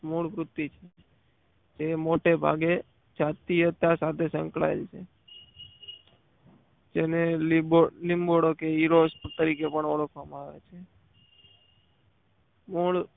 મૂળ વ્યક્તિ છે તે મોટેભાગે જાતીય સાથે સંકળાયેલી છે તેને લીંબોડો કે હીરો તરીકે પણ ઓળખવામાં આવે છે. મૂળ